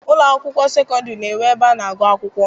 Ụlọ akwụkwọ sekọndịrị na-enwe ebe a na-agụ akwụkwọ.